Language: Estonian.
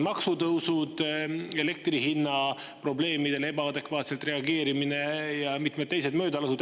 Maksutõusud, elektri hinna probleemidele ebaadekvaatselt reageerimine ja mitmed teised möödalasud.